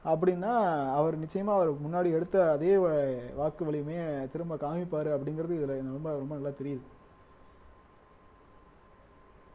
அப்படின்னா அவர் நிச்சயமா அவர் முன்னாடி எடுத்த அதே வா வாக்கு வலிமையை திரும்ப காமிப்பாரு அப்படிங்கிறது இதுல ரொம்ப ரொம்ப நல்லா தெரியுது